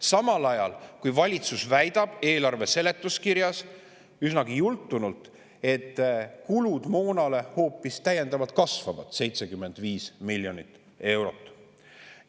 Samal ajal väidab valitsus eelarve seletuskirjas üsnagi jultunult, et kulud moonale hoopis kasvavad täiendavalt 75 miljonit eurot.